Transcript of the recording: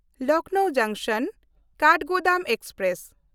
ᱞᱚᱠᱷᱱᱚᱣ ᱡᱚᱝᱥᱚᱱ–ᱠᱟᱴᱷᱜᱳᱫᱟᱢ ᱮᱠᱥᱯᱨᱮᱥ